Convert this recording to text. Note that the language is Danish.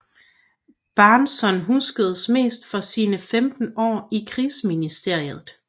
Bahnson huskes mest for sine 15 år i Krigsministeriet